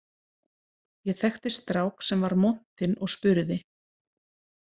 Ég þekkti strák sem var montinn og spurði